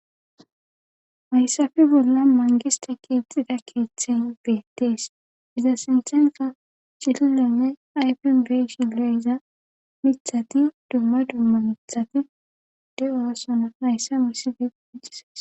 Maysafi bolla mangiste kiixida keeththen beettees iza sinthenka cililonne ayfin beshigle iza mithati dumma dumma mithati de7oasona mayssa misife wiccisees